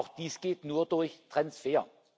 Auch dies geht nur durch Transfer.